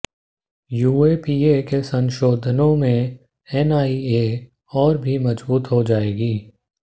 UAPA के संशोधनों से एनआईए और भी मजबूत हो जाएगी